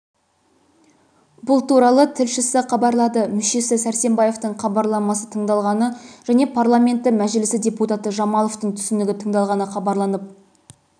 бұл туралы тілшісі хабарлады мүшесі сәрсембаевтың хабарламасы тыңдалғаны және парламенті мәжілісі депутаты жамаловтың түсінігі тыңдалғаны хабарланып